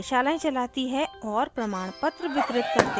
कार्यशालाएं चलाती है और प्रमाणपत्र वितरित करते हैं